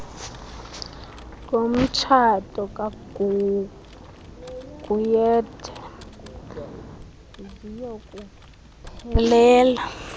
ngomtshato kaguguiethu ziyokuphelela